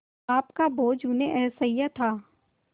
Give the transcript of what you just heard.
पाप का बोझ उन्हें असह्य था